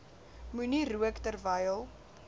moenie rook terwyl